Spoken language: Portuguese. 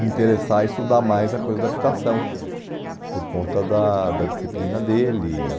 me interessar a estudar mais a coisa da habitação, por conta da da disciplina dele.